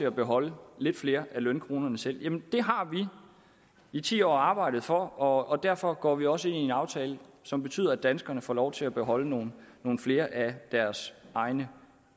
at beholde lidt flere af lønkronerne sige jamen det har vi i ti år arbejdet for og derfor går vi også ind i en aftale som betyder at danskerne får lov til at beholde nogle nogle flere af deres egne